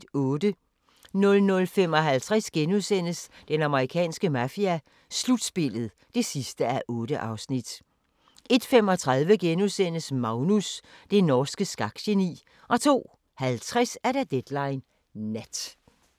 00:55: Den amerikanske mafia: Slutspillet (8:8)* 01:35: Magnus – det norske skakgeni * 02:50: Deadline Nat